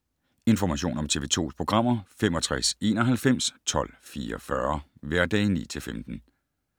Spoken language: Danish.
Information om TV 2's programmer: 65 91 12 44, hverdage 9-15.